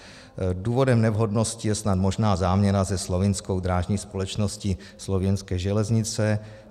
Důvodem nevhodnosti je snad možná záměna se slovinskou drážní společností Slovinské železnice.